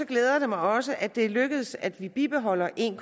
glæder det mig også at det er lykkedes at vi bibeholder en